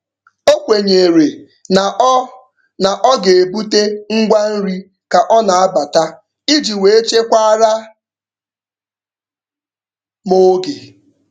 O kwenyere na ọ na ọ ga-ebute ngwa nri ka ọ na-abata iji wee chekwaara m oge.